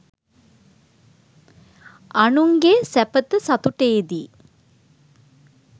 අනුන්ගේ සැපත සතුටේදී